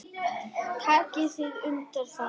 Takið þið undir það?